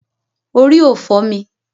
Orí ò fọ́ mi.